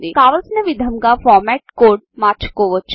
కావలసిన విధంగా ఫార్మాట్కోడ్ను మార్చుకోవచ్చు